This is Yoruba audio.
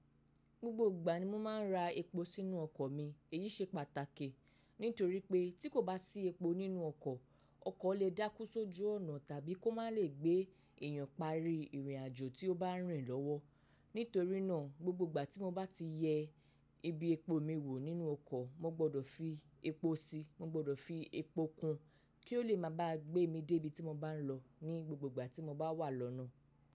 Gbogbo ìgbà ni mo máa ń ra epo sínú ọkọ̀ mi, èyí ṣe pàtàkì nítorí pé tí kò bá sí epo nínú ọkọ̀, ọkọ̀ lè dákú sójú ọ̀nà tàbí kó má lè gbé èèyàn parí ìrìnàjò tí ó bá rìn lọ́wọ́. Nítorí náà, gbogbo ìgbà ti mo ba ti ye ibi epo mi wo nínú oko, mo gbọ́dọ̀ fi epo si, mo gbọ́dọ̀ fi epo kun kio le máa ba gbemi de ibi ti mo ba n lo ni gbogbo ìgbà ti mo ba wa lọ́nà.